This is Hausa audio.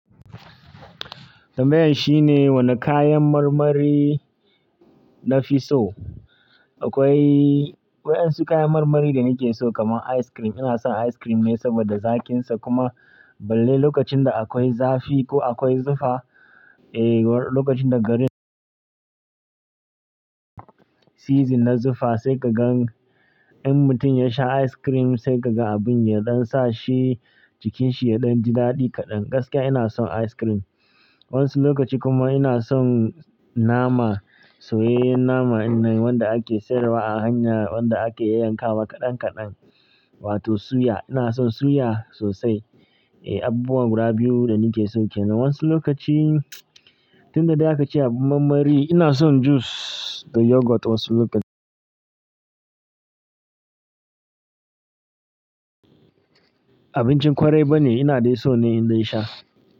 Tambayan shine wane kayan marmari nafi so. Akwai, akwai wasu kayan marmari da nike so kamar ice cream. Ina son ice cream ne saboda zaƙinsa kuma balle lokacin da akwai zafi ko akwai zufa. Eh, lokacin da garin season na zufa sai ka gan in mutum ya sha ice cream, sai ka gan abin yaɗan sa shi jikinshi yaɗan jidaɗi kaɗan. Gaskiya ina son ice cream. Wani lokaci kuma ina son nama. Soyayyen nama inda wanda ake sayarwa a hanya, wanda ake yanka wa kaɗan kaɗan wato suya. Ina son suya sosai. Eh, abubuwa guda biyu da nike so kenan. Wasu lokaci, tun da dai aka ce abin marmari, ina son juice da yogurt wasu lokaci. Abincin kwarai bane, ina dai so ne in dai sha.